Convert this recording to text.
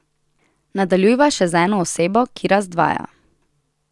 Nadaljujva še z eno osebo, ki razdvaja.